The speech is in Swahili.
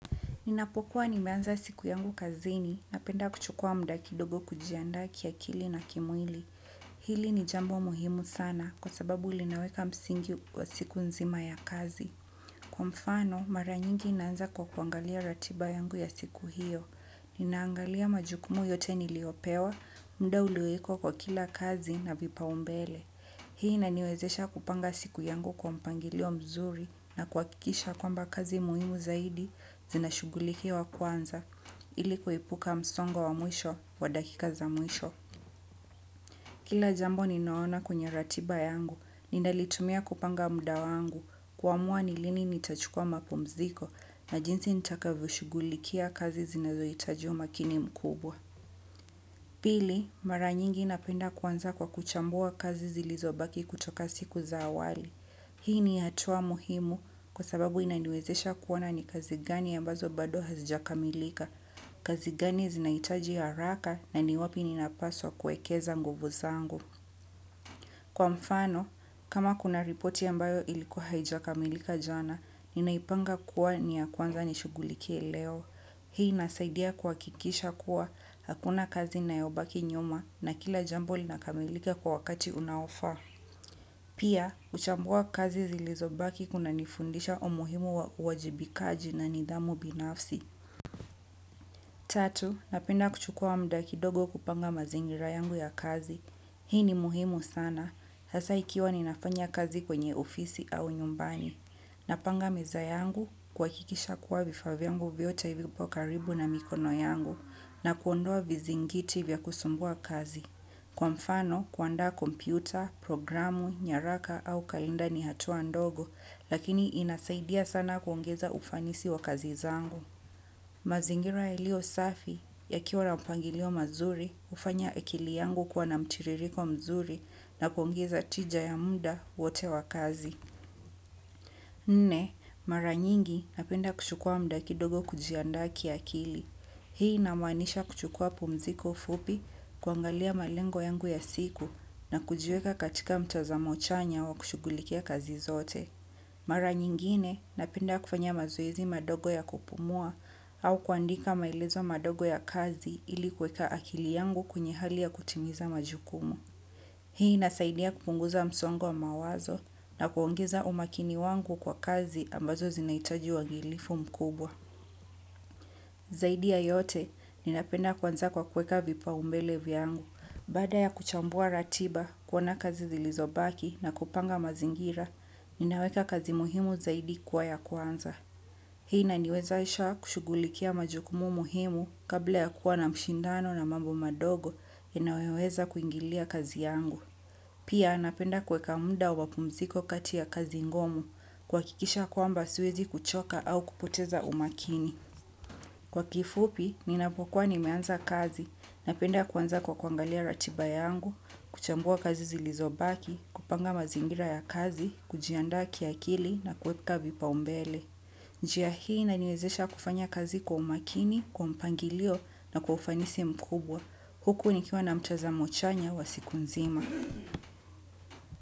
Ninapokuwa nimeanza siku yangu kazini napenda kuchukua muda kidogo kujianda kiakili na kimwili. Hili ni jambo muhimu sana kwa sababu linaweka msingi wa siku nzima ya kazi. Kwa mfano, mara nyingi naanza kwa kuangalia ratiba yangu ya siku hiyo. Ninaangalia majukumu yote niliyopewa, muda uliyowekwa kwa kila kazi na vipao mbele. Hii inaniwezesha kupanga siku yangu kwa mpangilio mzuri na kuhakikisha kwamba kazi muhimu zaidi zinashugulikiwa kwanza ili kuepuka msongo wa mwisho wa dakika za mwisho. Kila jambo ninaona kwenye ratiba yangu, ninalitumia kupanga muda wangu kuamua ni lini nitachukua mapumziko na jinsi nitakavyoshugulikia kazi zinazohitaji umakini mkubwa. Pili, mara nyingi napenda kuanza kwa kuchambua kazi zilizobaki kutoka siku za awali. Hii ni hatua muhimu kwa sababu inaniwezesha kuoana ni kazi gani ambazo bado hazijakamilika, kazi gani zinaitaji haraka na ni wapi ninapaswa kuekeza nguvu zangu. Kwa mfano, kama kuna ripoti ambayo ilikuwa haijakamilika jana, ninaipanga kuwa ni ya kwanza nishugulike leo. Hii inasaidia kuhakikisha kuwa hakuna kazi inayobaki nyuma na kila jambo linakamilika kwa wakati unaofa. Pia, huchambua kazi zilizobaki kuna nifundisha umuhimu wa uwajibikaji na nidhamu binafsi. Tatu, napenda kuchukua muda kidogo kupanga mazingira yangu ya kazi. Hii ni muhimu sana. Sasa ikiwa ninafanya kazi kwenye ofisi au nyumbani. Na panga meza yangu kuhakikisha kuwa vifa vyangu vyote vipo karibu na mikono yangu na kuondoa vizingiti vya kusumbua kazi. Kwa mfano kuanda kompyuta, programu, nyaraka au kalinda ni hatua ndogo lakini inasaidia sana kuongeza ufanisi wa kazi zangu. Mazingira haliyo safi yakiwa na mpangilio mazuri hufanya akili yangu kuwa na mtiririko mzuri na kuongeza tija ya muda wote wa kazi. Nne, mara nyingi napenda kuchukua muda kidogo kujiandaa kiakili. Hii inamanisha kuchukua pumziko fupi kuangalia malengo yangu ya siku na kujiweka katika mtazamo chanya wa kushugulikia kazi zote. Mara nyingine napenda kufanya mazoezi madogo ya kupumua au kuandika maelezo madogo ya kazi ili kweka akili yangu kwenye hali ya kutimiza majukumu. Hii inasaidia kupunguza msongo wa mawazo na kuongeza umakini wangu kwa kazi ambazo zinaitaji uangilifu mkubwa. Zaidi ya yote ninapenda kuanza kwa kueka vipao mbele vyangu. Baada ya kuchambua ratiba kuona kazi zilizobaki na kupanga mazingira, ninaweka kazi muhimu zaidi kuwa ya kwanza. Hii inaniwezesha kushugulikia majukumu muhimu kabla ya kuwa na mshindano na mambo madogo yanayoweza kuingilia kazi yangu. Pia napenda kueka muda wapumziko kati ya kazi ngumu kuhakikisha kwamba siwezi kuchoka au kupoteza umakini. Kwa kifupi, ninapokuwa nimeanza kazi, napenda kuanza kwa kuangalia ratiba yangu, kuchambua kazi zilizobaki, kupanga mazingira ya kazi, kujianda kiakili na kuweka vipao mbele. Njia inaniwezesha kufanya kazi kwa umakini, kwa mapangilio na kwa ufanisi mkubwa. Huku ni kiwa na mtazamo chanya wa siku nzima.